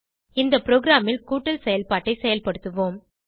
இந்த ப்ரோகிராமில் கூட்டல் செயல்பாட்டை செயல்படுத்துவோம்